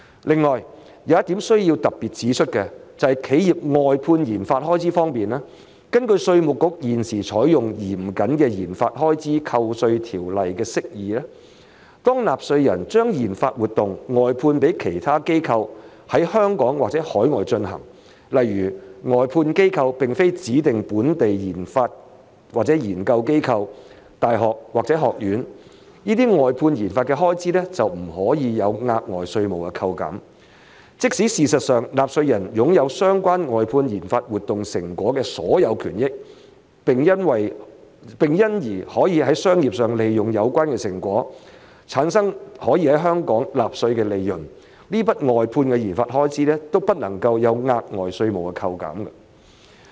另外，有一點需要特別指出的，就是企業外判研發開支方面，根據稅務局現時採用嚴謹的研發開支扣稅條例的釋義，當納稅人將研發活動外判予其他機構在香港或海外進行，例如外判機構並非指定本地研發或研究機構、大學或學院，這些外判研究的開支便不可獲額外稅務扣減；即使事實上納稅人擁有相關外判研發活動成果的所有權益，並因而可在商業上利用有關成果產生可在香港納稅的的利潤，這筆外判研發開支亦不可獲額外稅務扣減。